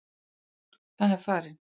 Hann er farinn.